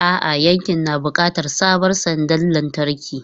A'a, yankin na buƙatar sabon sandar lantarki.